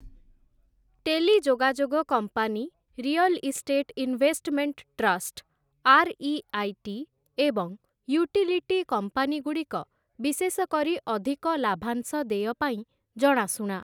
ଟେଲିଯୋଗାଯୋଗ company, real estate investment trust, R E I T. ଏବଂ utility କମ୍ପାନୀଗୁଡ଼ିକ, ବିଶେଷ କରି ଅଧିକ ଲାଭାଂଶ ଦେୟ ପାଇଁ ଜଣାଶୁଣା ।